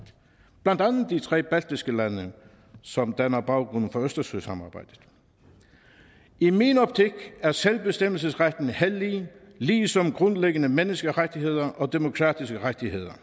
blandt andet de tre baltiske lande som danner baggrund for østersøsamarbejdet i min optik er selvbestemmelsesretten hellig ligesom grundlæggende menneskerettigheder og demokratiske rettigheder